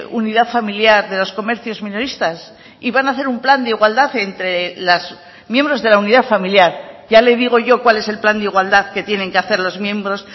unidad familiar de los comercios minoristas y van a hacer un plan de igualdad entre los miembros de la unidad familiar ya le digo yo cuál es el plan de igualdad que tienen que hacer los miembros